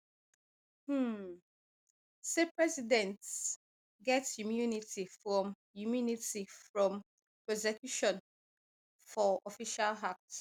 um say presidents get immunity from immunity from prosecution for official acts